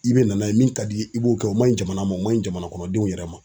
I bɛ na n'a ye min ka d'i ye i b'o kɛ o man ɲi jamana ma o man ɲi jamana kɔnɔ denw yɛrɛ ma.